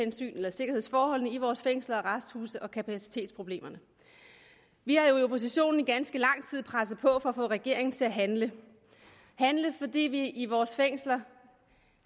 sikkerhedsforholdene i vores fængsler og arresthuse og kapacitetsproblemerne vi har i oppositionen i ganske lang tid presset på for at få regeringen til at handle fordi vi i vores fængsler